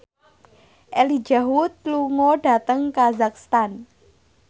Elijah Wood lunga dhateng kazakhstan